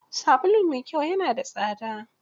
Sabulu mai kyau ya na da tsada.